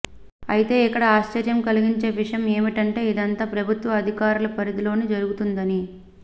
అయితే ఇక్కడ ఆశ్చర్యం కలిగించే విషయం ఏమిటంటే ఇదంతా ప్రభుత్వ అధికారుల పరిధిలోని జరుగుతుందని